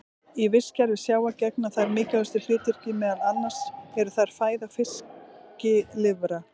Í vistkerfi sjávar gegna þær mikilvægu hlutverki, meðal annars eru þær fæða fiskilirfa.